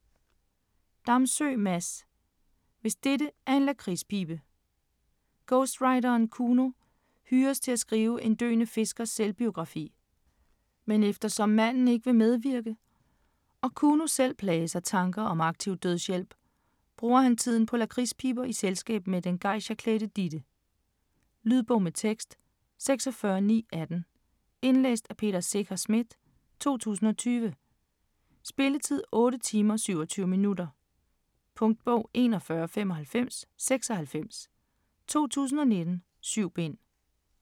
Damsø, Mads: Hvis dette er en lakridspibe Ghostwriteren Kuno hyres til at skrive en døende fiskers selvbiografi. Men eftersom manden ikke vil medvirke, og Kuno selv plages af tanker om aktiv dødshjælp, bruger han tiden på lakridspiber i selskab med den geisha-klædte Ditte. Lydbog med tekst 46918 Indlæst af Peter Secher Schmidt, 2020. Spilletid: 8 timer, 27 minutter. Punktbog 419596 2019. 7 bind.